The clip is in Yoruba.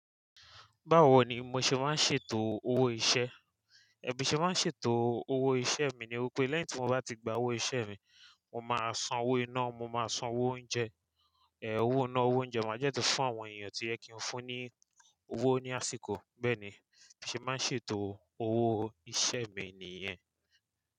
Báwo ni mo ṣe máa ń ṣètò owó iṣẹ́? Bí mo ṣe máa ń ṣètò owó iṣẹ́ mi ni wípé lẹ́yìn tí mo bá ti gba owó iṣẹ́ mi, mo máa san owó iná, mo máa san owó oúnjẹ, owó iná, owó oúnjẹ máa jẹ́ tó fún àwọn èèyàn tí o yẹ kí n fún ní owó ní àsìkò. Bẹ́ẹ̀ ni, bí mo ṣe máa ń ṣètò owó iṣẹ́ mi nìyẹn.